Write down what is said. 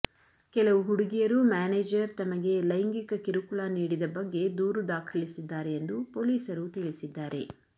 ಕೆಲವು ಹುಡುಗಿಯರು ಮ್ಯಾನೇಜರ್ ತಮಗೆ ಲೈಂಗಿಕ ಕಿರುಕುಳ ನೀಡಿದ ಬಗ್ಗೆ ದೂರು ದಾಖಲಿಸಿದ್ದಾರೆ ಎಂದು ಪೊಲೀಸರು ತಿಳಿಸಿದ್ದಾರೆ